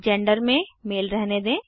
gender में male रहने दें